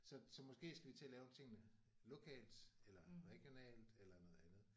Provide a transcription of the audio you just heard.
Så så måske skal vi til at lave tingene lokalt eller regionalt eller noget andet